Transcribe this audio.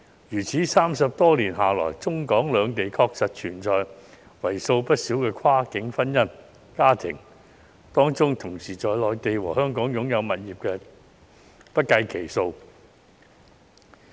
如此 ，30 多年下來，中、港兩地確實存在許多跨境婚姻的家庭，當中同時在內地和香港擁有物業的不計其數。